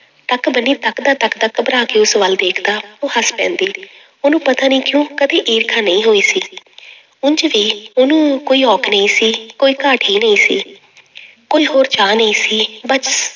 ਤੱਕ ਬੰਨੀ ਤੱਕਦਾ ਤੱਕਦਾ ਘਬਰਾ ਕੇ ਉਸ ਵੱਲ ਦੇਖਦਾ ਉਹ ਹੱਸ ਪੈਂਦੀ ਉਹਨੂੰ ਪਤਾ ਨੀ ਕਿਉਂ ਕਦੇ ਈਰਖਾ ਨਹੀਂ ਹੋਈ ਸੀ ਉਞ ਵੀ ਉਹਨੂੰ ਕੋਈ ਔਖ ਨਹੀਂ ਸੀ, ਕੋਈ ਘਾਟ ਹੀ ਨਹੀਂ ਸੀ ਕੋਈ ਹੋਰ ਚਾਹ ਨਹੀਂ ਸੀ ਬਸ